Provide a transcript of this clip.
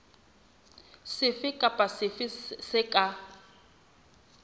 sefe kapa sefe se ka